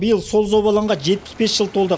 биыл сол забалаңға жетпіс бес жыл толды